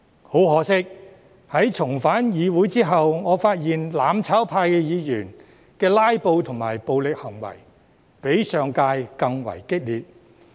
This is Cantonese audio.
很可惜，在重返議會後，我發現"攬炒派"議員的"拉布"及暴力行為比上屆更為激烈。